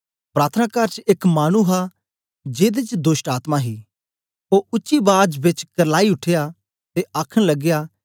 प्रार्थनाकार च एक मानु हा जेदे च दोष्टआत्मा ही ओ ऊंची बाज बेच करलाई उठया ते आखन लगया